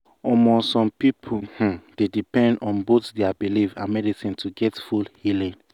some um people um dey depend on both their belief and medicine to get full healing.